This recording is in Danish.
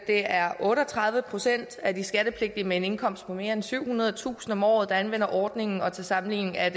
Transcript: er otte og tredive procent af de skattepligtige med en indkomst på mere end syvhundredetusind kroner om året der anvender ordningen og til sammenligning er